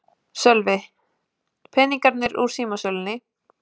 Sölvi: Peningarnir úr símasölunni?